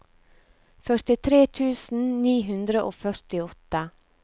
førtitre tusen ni hundre og førtiåtte